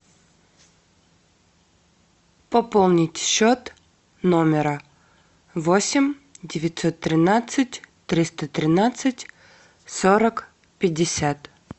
пополнить счет номера восемь девятьсот тринадцать триста тринадцать сорок пятьдесят